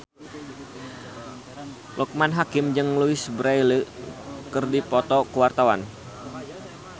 Loekman Hakim jeung Louise Brealey keur dipoto ku wartawan